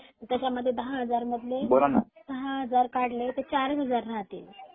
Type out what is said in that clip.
त्याच्यामध्ये दहा हजारबोलाना .मधले दहा हजार काढले तर चार हजार राहतील